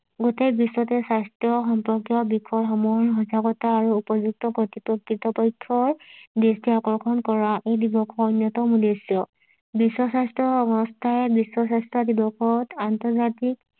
গোটেই বিশ্বতে স্বাস্থ্য সম্পৰ্কীয় বিষয় সমূহৰ সজাগতা আৰু উপযুক্ত কৰ্তৃক্ষৰ দৃষ্টি আকৰ্ষণ কৰা এই দিৱসৰ অন্যতম উদ্দেশ্য বিশ্ব স্বাস্থ্য সংস্থায় বিশ্ব স্বাস্থ্য দিৱসত আন্তৰ্জাতিক